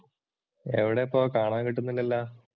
എവിടെയിപ്പോൾ, കാണാൻ കിട്ടുന്നില്ലല്ലോ?